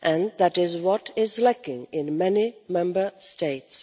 That is what is lacking in many Member States.